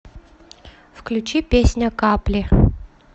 включи песня капли